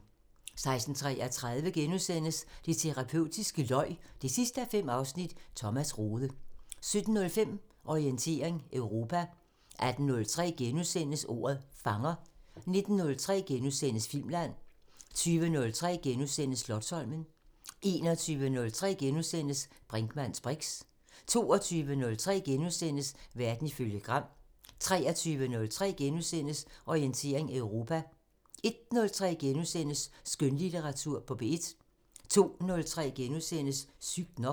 16:33: Det terapeutiske løg 5:5 – Thomas Rode * 17:05: Orientering Europa 18:03: Ordet fanger * 19:03: Filmland * 20:03: Slotsholmen * 21:03: Brinkmanns briks * 22:03: Verden ifølge Gram * 23:03: Orientering Europa * 01:03: Skønlitteratur på P1 * 02:03: Sygt nok *